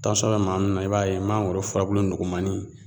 Tansɔn be maa min na i b'a ye mangoro furabulu nugumani